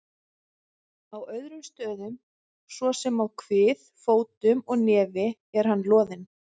Á öðrum stöðum, svo sem á kvið, fótum og nefi er hann loðinn.